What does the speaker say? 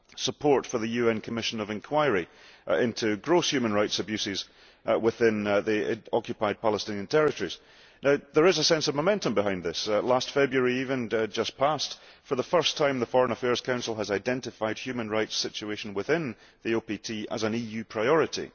support for the UN Commission of Inquiry into gross human rights abuses within the occupied Palestinian territories Now, there is a sense of momentum behind this. Last February even, for the first time, the Foreign Affairs Council identified the human rights situation within the OPT as an EU priority.